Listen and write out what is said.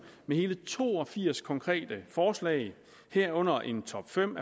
med hele to og firs konkrete forslag herunder en top fem